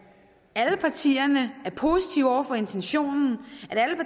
alle partierne er positive over for intentionen